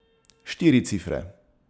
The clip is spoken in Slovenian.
Štiri cifre.